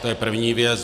To je první věc.